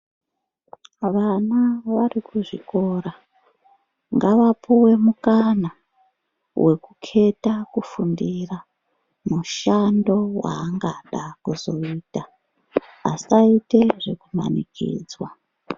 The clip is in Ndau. Vana varikuzvikora ngavapuwe mukana wekukheta kufundira mushando waangada kuzoita asaite zvekumanikidzwa.